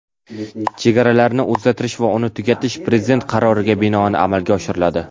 chegaralarini o‘zgartirish va uni tugatish Prezident qaroriga binoan amalga oshiriladi.